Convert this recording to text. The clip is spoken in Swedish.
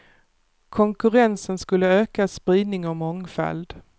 Konkurrensen skulle öka spridning och mångfald.